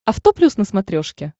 авто плюс на смотрешке